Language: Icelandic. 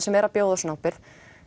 sem er að bjóða svona ábyrgð